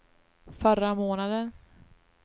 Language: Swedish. förra månaden